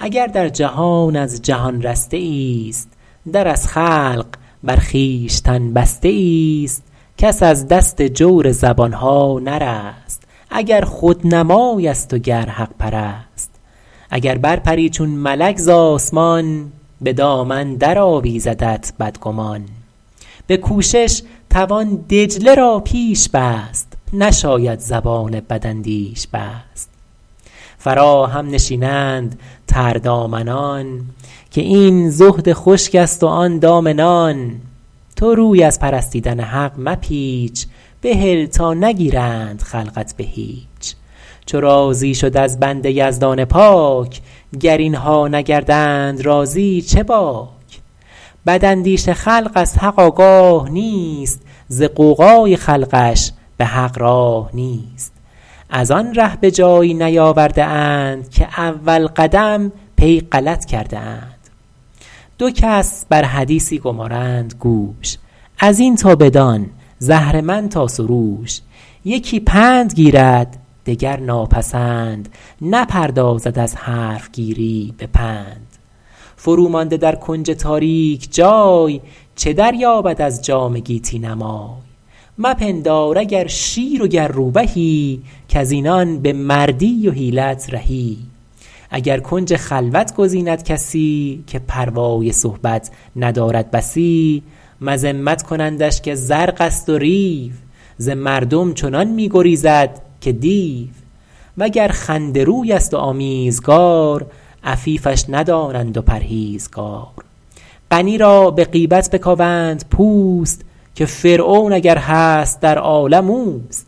اگر در جهان از جهان رسته ای است در از خلق بر خویشتن بسته ای است کس از دست جور زبانها نرست اگر خودنمای است و گر حق پرست اگر بر پری چون ملک به آسمان ز دامن در آویزدت بدگمان به کوشش توان دجله را پیش بست نشاید زبان بداندیش بست فراهم نشینند تردامنان که این زهد خشک است و آن دام نان تو روی از پرستیدن حق مپیچ بهل تا نگیرند خلقت به هیچ چو راضی شد از بنده یزدان پاک گر اینها نگردند راضی چه باک بد اندیش خلق از حق آگاه نیست ز غوغای خلقش به حق راه نیست از آن ره به جایی نیاورده اند که اول قدم پی غلط کرده اند دو کس بر حدیثی گمارند گوش از این تا بدان ز اهرمن تا سروش یکی پند گیرد دگر ناپسند نپردازد از حرفگیری به پند فرو مانده در کنج تاریک جای چه دریابد از جام گیتی نمای مپندار اگر شیر و گر روبهی کز اینان به مردی و حیلت رهی اگر کنج خلوت گزیند کسی که پروای صحبت ندارد بسی مذمت کنندش که زرق است و ریو ز مردم چنان می گریزد که دیو وگر خنده روی است و آمیزگار عفیفش ندانند و پرهیزگار غنی را به غیبت بکاوند پوست که فرعون اگر هست در عالم اوست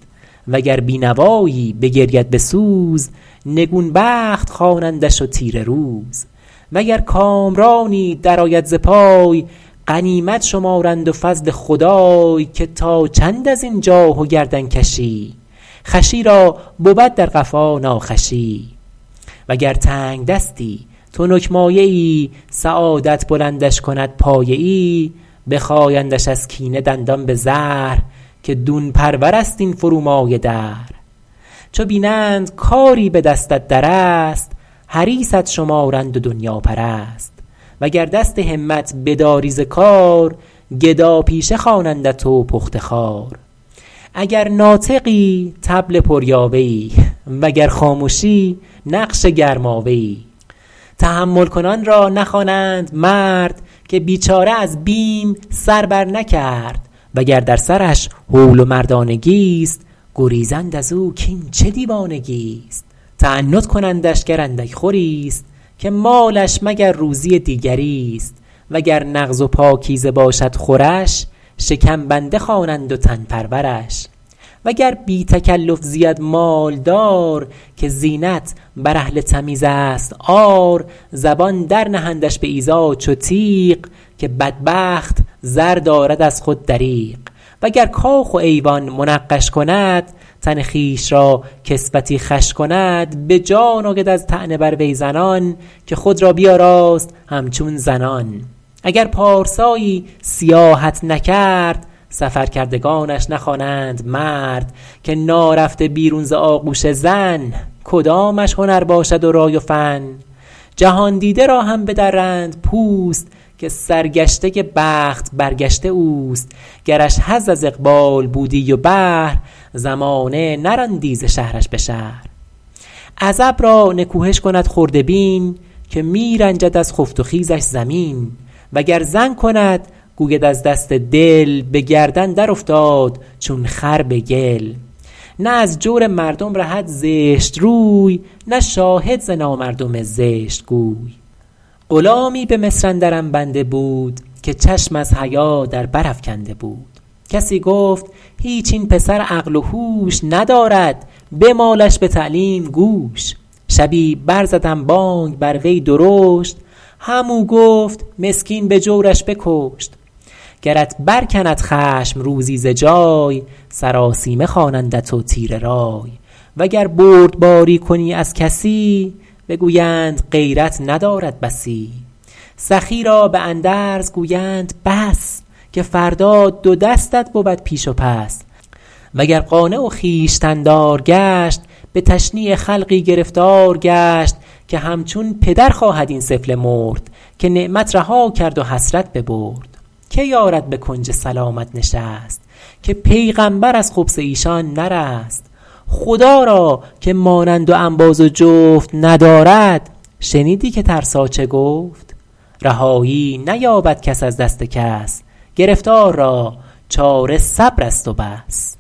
وگر بینوایی بگرید به سوز نگون بخت خوانندش و تیره روز وگر کامرانی در آید ز پای غنیمت شمارند و فضل خدای که تا چند از این جاه و گردن کشی خوشی را بود در قفا ناخوشی و گر تنگدستی تنک مایه ای سعادت بلندش کند پایه ای بخایندش از کینه دندان به زهر که دون پرور است این فرومایه دهر چو بینند کاری به دستت در است حریصت شمارند و دنیاپرست وگر دست همت بداری ز کار گدا پیشه خوانندت و پخته خوار اگر ناطقی طبل پر یاوه ای وگر خامشی نقش گرماوه ای تحمل کنان را نخوانند مرد که بیچاره از بیم سر برنکرد وگر در سرش هول و مردانگی است گریزند از او کاین چه دیوانگی است تعنت کنندش گر اندک خوری است که مالش مگر روزی دیگری است وگر نغز و پاکیزه باشد خورش شکم بنده خوانند و تن پرورش وگر بی تکلف زید مالدار که زینت بر اهل تمیز است عار زبان در نهندش به ایذا چو تیغ که بدبخت زر دارد از خود دریغ و گر کاخ و ایوان منقش کند تن خویش را کسوتی خوش کند به جان آید از طعنه بر وی زنان که خود را بیاراست همچون زنان اگر پارسایی سیاحت نکرد سفر کردگانش نخوانند مرد که نارفته بیرون ز آغوش زن کدامش هنر باشد و رای و فن جهاندیده را هم بدرند پوست که سرگشته بخت برگشته اوست گرش حظ از اقبال بودی و بهر زمانه نراندی ز شهرش به شهر عزب را نکوهش کند خرده بین که می رنجد از خفت و خیزش زمین وگر زن کند گوید از دست دل به گردن در افتاد چون خر به گل نه از جور مردم رهد زشت روی نه شاهد ز نامردم زشت گوی غلامی به مصر اندرم بنده بود که چشم از حیا در بر افکنده بود کسی گفت هیچ این پسر عقل و هوش ندارد بمالش به تعلیم گوش شبی بر زدم بانگ بر وی درشت هم او گفت مسکین به جورش بکشت گرت برکند خشم روزی ز جای سراسیمه خوانندت و تیره رای وگر بردباری کنی از کسی بگویند غیرت ندارد بسی سخی را به اندرز گویند بس که فردا دو دستت بود پیش و پس وگر قانع و خویشتن دار گشت به تشنیع خلقی گرفتار گشت که همچون پدر خواهد این سفله مرد که نعمت رها کرد و حسرت ببرد که یارد به کنج سلامت نشست که پیغمبر از خبث ایشان نرست خدا را که مانند و انباز و جفت ندارد شنیدی که ترسا چه گفت رهایی نیابد کس از دست کس گرفتار را چاره صبر است و بس